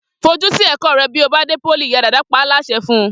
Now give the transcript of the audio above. Fojú sí ẹ̀kọ́ rẹ bí ó bá dé pólì!', ìyá Dàda pa á láṣẹ fun